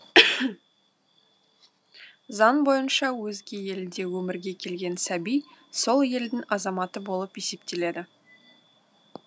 заң бойынша өзге елде өмірге келген сәби сол елдің азаматы болып есептеледі